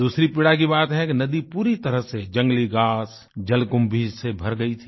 दूसरी पीड़ा की बात है कि नदी पूरी तरह से जंगली घास जलकुम्भी से भर गई थी